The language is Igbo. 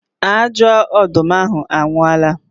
Ajọ ọdụm ahụ anwụọla